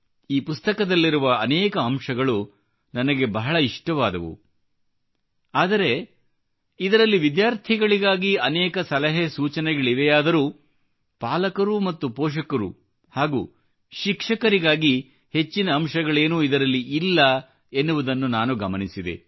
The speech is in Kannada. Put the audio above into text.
ಈ ಪುಸ್ತಕದಲ್ಲಿರುವ ಅನೇಕ ಅಂಶಗಳು ನನಗೆ ಬಹಳ ಇಷ್ಟವಾದವು ಆದರೆ ಇದರಲ್ಲಿ ವಿದ್ಯಾರ್ಥಿಗಳಿಗಾಗಿ ಅನೇಕ ಸಲಹೆ ಸೂಚನೆಗಳಿವೆಯಾದರೂ ಪಾಲಕರು ಮತ್ತು ಪೋಷಕರು ಹಾಗೂ ಶಿಕ್ಷಕರಿಗಾಗಿ ಹೆಚ್ಚಿನ ಅಂಶಗಳೇನೂ ಇದರಲ್ಲಿ ಇಲ್ಲ ಎನ್ನುವುದನ್ನು ನಾನು ಗಮನಿಸಿದೆ